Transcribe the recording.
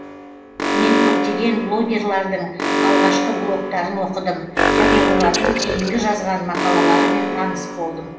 мен көптеген блогерлардың алғашқы блогтарын оқыдым және олардың кейінгі жазған мақалаларымен таныс болдым